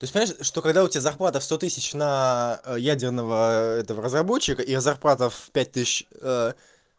то есть понятно что когда у тебя зарплата в сто тысяч на ядерного этого разработчика и зарплата в пять тысяч